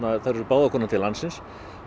þær eru báðar komnar til landsins